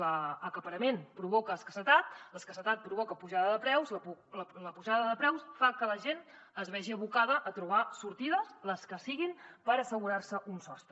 l’acaparament provoca escassetat l’escassetat provoca pujada de preus la pujada de preus fa que la gent es vegi abocada a trobar sortides les que siguin per assegurarse un sostre